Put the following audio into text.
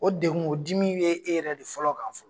O dekun o dimi bɛ e yɛrɛ de fɔlɔ kan fɔlɔ.